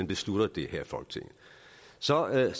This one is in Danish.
besluttes her i folketinget så er det